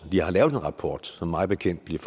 har lavet en rapport som mig bekendt bliver